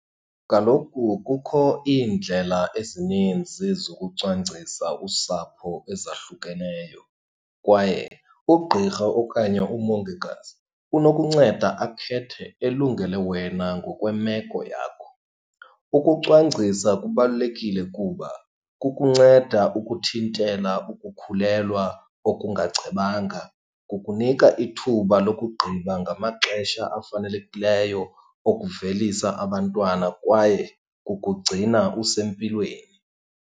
Kaloku kukho iindlela ezininzi zokucwangcisa usapho ezahlukeneyo kwaye ugqirha okanye umongikazi unokunceda akhethe elungele wena ngokwemeko yakho. Ukucwangcisa kubalulekile kuba kukunceda ukuthintela ukukhulelwa okungacebanga, kukunika ithuba lokugqiba ngamaxesha afanelekileyo okuvelisa abantwana kwaye kukugcina usempilweni.